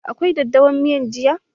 Akwai daddawa a miyan jiya?